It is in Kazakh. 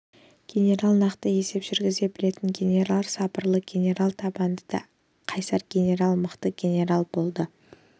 генерал нақты есеп жүргізе білетін генерал сабырлы генерал табанды да қайсар генерал мақсатты генерал болды